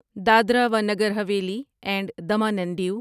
دادرا و Nagar Haveli and Daman and Dev